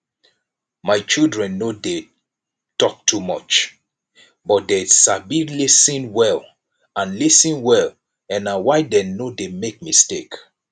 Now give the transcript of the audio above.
my children no dey talk too much but dey sabi lis ten well and lis ten well and na why dey no dey make mistake